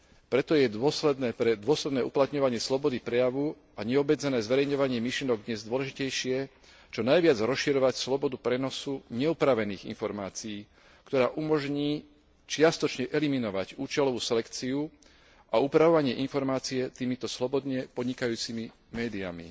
Preto je pre dôsledné uplatňovanie slobody prejavu a neobmedzené zverejňovanie myšlienok dnes dôležitejšie čo najviac rozširovať slobodu prenosu neupravených informácií, ktorá umožní čiastočne eliminovať účelovú selekciu a upravovanie informácií týmito slobodne podnikajúcimi médiami.